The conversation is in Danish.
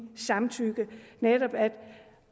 samtykke